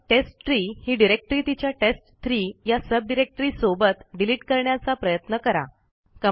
मग टेस्टट्री ही डिरेक्टरी तिच्या टेस्ट3 या सबडिरेक्टरीसोबत डिलीट करण्याचा प्रयत्न करा